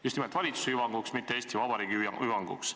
Just nimelt valitsuse hüvanguks, mitte Eesti Vabariigi hüvanguks.